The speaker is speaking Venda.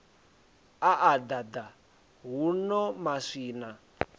a a ḓaḓa huno maswina